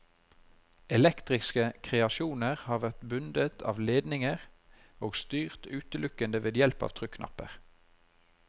Elektriske kreasjoner har vært bundet av ledninger, og styrt utelukkende ved hjelp av trykknapper.